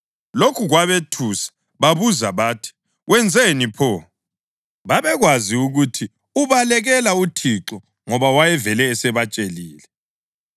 Lokhu kwabethusa, babuza bathi, “Wenzeni pho?” (Babekwazi ukuthi ubalekela uThixo ngoba wayevele esebatshelile.)